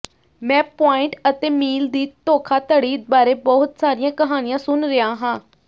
ਮੈਂ ਪੁਆਇੰਟ ਅਤੇ ਮੀਲ ਦੀ ਧੋਖਾਧੜੀ ਬਾਰੇ ਬਹੁਤ ਸਾਰੀਆਂ ਕਹਾਣੀਆਂ ਸੁਣ ਰਿਹਾ ਹਾਂ